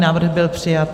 Návrh byl přijat.